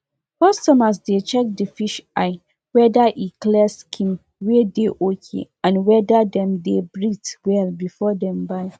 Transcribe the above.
e dey common to dey use scent leaf treat belle wey dey pain peson and poison wey happen becos of food.